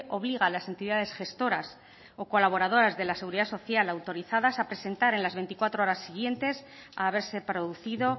obliga a las entidades gestoras o colaboradoras de la seguridad social autorizadas a presentar en las veinticuatro horas siguientes a haberse producido